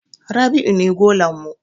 Rabi'u ne golan mu.